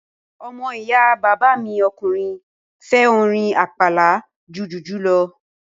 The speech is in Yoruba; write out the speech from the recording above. Ọmọ ìyá bàbá mi ọkùnrin fẹ́ orin àpàlà ju jùjú lọ